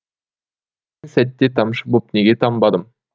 сәтте тамшы боп неге тамбадым